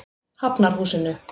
Hafnarhúsinu